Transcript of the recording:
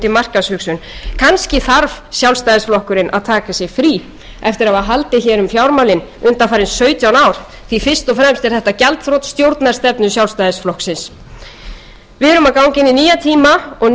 markaðshugsun kannski þarf sjálfstæðisflokkurinn að taka sér frí eftir að hafa haldið um fjármálin undanfarin sautján ár því fyrst og fremst er þetta gjaldþrot stjórnarstefnu sjálfstæðisflokksins við erum að ganga inn í nýja tíma og nýja hugsun ekki aðeins í